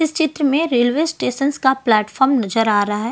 इस चित्र में रेलवे स्टेशंस का प्लेटफार्म नजर आ रहा--